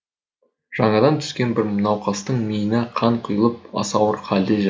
жаңадан түскен бір науқастың миына қан құйылып аса ауыр халде жатты